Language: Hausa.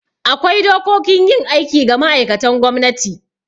Akwai dokokin yin aiki ga ma'aikatan gwamnati